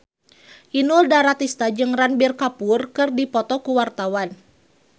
Inul Daratista jeung Ranbir Kapoor keur dipoto ku wartawan